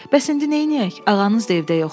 Bəs indi neyləyək, ağanız da evdə yoxdur.